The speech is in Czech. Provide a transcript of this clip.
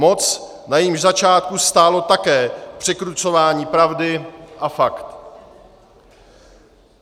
Moc, na jejímž začátku stálo také překrucování pravdy a faktů.